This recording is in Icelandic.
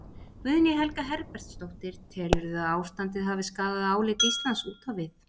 Guðný Helga Herbertsdóttir: Telurðu að ástandið hafi skaðað álit Íslands út á við?